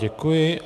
Děkuji.